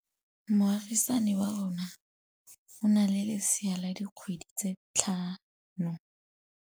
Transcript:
Moagisane wa rona o na le lesea la dikgwedi tse tlhano.